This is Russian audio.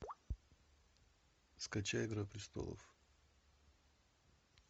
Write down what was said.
скачай игра престолов